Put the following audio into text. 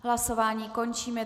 Hlasování končím.